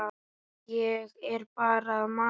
Ég er bara að masa.